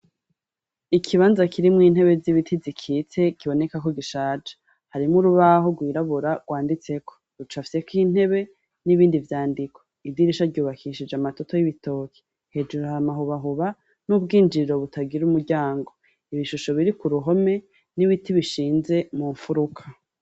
Ikibanza kirimwo intebe z'ibiti zikitse kiboneka ko gishaje harimwo urubaho rwirabura rwanditseko rucapfyeko intebe n'ibindi vyandiko, idirisha ryubakishije amatoto y'ibitoke hejuru har'amahubahuba n'ubwinjiriro butagira umuryango, ibishusho biri ku ruhome n'ibiti bishinze mu mfuruka.